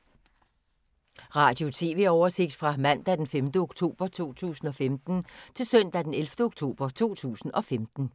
Radio/TV oversigt fra mandag d. 5. oktober 2015 til søndag d. 11. oktober 2015